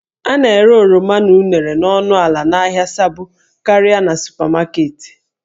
A na-ere oroma na unere n'ọnụ ala n'ahịa Sabo karịa na supamaketi